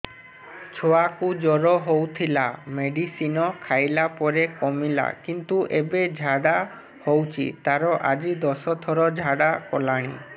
ଛୁଆ କୁ ଜର ହଉଥିଲା ମେଡିସିନ ଖାଇଲା ପରେ କମିଲା କିନ୍ତୁ ଏବେ ଝାଡା ହଉଚି ତାର ଆଜି ଦଶ ଥର ଝାଡା କଲାଣି